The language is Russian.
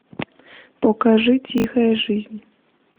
покажи тихая жизнь